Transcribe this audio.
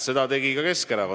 Seda tegi ka Keskerakond.